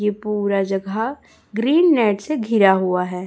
ये पूरा जगह ग्रीन नेट से गिरा हुआ है।